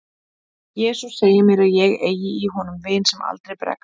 jesús segir mér að ég eigi í honum vin sem aldrei bregst